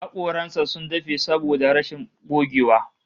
Hakoran sa sun dafe saboda rashin gogewa